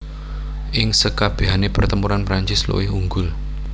Ing sekabèhané pertempuran Prancis luwih unggul